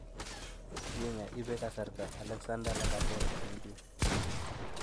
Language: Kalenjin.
wenger: ipee kasarta Alexandre Lacazette en pii